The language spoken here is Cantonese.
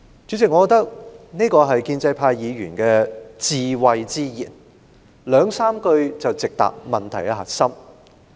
主席，我認為這真是建制派議員智慧之言，兩三句話便直指問題核心。